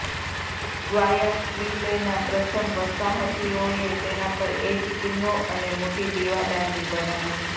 ગ્વાયાક્વિલેના પ્રથમ વસાહતીઓએ તેના પર એક કિલ્લો અને મોટી દીવાદાંડી બનાવી